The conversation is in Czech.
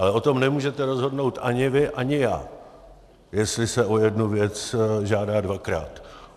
Ale o tom nemůžete rozhodnout ani vy, ani já, jestli se o jednu věc žádá dvakrát.